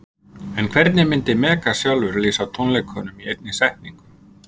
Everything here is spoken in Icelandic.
En hvernig myndi Megas sjálfur lýsa tónleikunum í einni setningu?